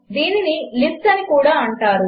దీనిని లిస్ట్ అని కూడా అంటారు